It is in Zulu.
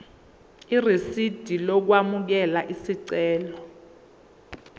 irisidi lokwamukela isicelo